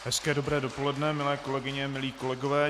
Hezké dobré dopoledne, milé kolegyně, milí kolegové.